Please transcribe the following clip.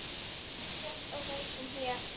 Víða sést á húsum hér.